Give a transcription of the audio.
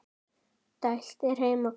dælt er heima hvað.